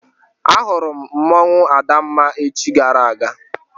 Ahụrụ m mmanwụ Adamma echi gara aga.